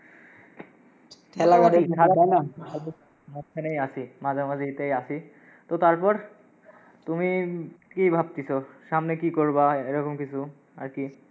মাঝখানেই আসি, মাঝামাঝাতেই আসি, তো তারপর? তুমি কি ভাবতিসো সামনে কি করবা এই রকম কিছু আর কি।